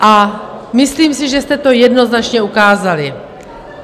A myslím si, že jste to jednoznačně ukázali.